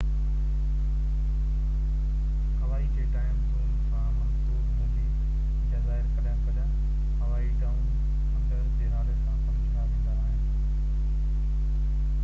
هوائي جي time zone سان منسوب هوندي جزائر ڪڏهن ڪڏهن هوائي ڊائون انڊر جي نالي سان سمجهيا ويندا آهن